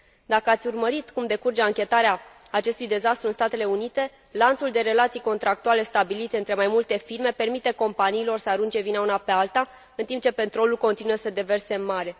Dacă ați urmărit cum decurge anchetarea acestui dezastru în Statele Unite, lanțul de relații contractuale stabilite între mai multe firme permite companiilor să arunce vina una pe alta, în timp ce petrolul continuă să se deverseze în mare.